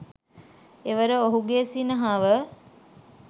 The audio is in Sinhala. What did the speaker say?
එවර ඔහුගේ සිනහව